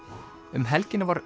um helgina var